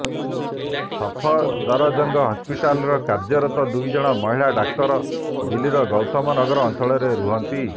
ସଫଦରଜଙ୍ଗ ହସ୍ପିଟାଲର କାର୍ଯ୍ୟରତ ଦୁଇଜଣ ମହିଳା ଡାକ୍ତର ଦିଲ୍ଲୀର ଗୌତମ ନଗର ଅଞ୍ଚଳରେ ରୁହନ୍ତି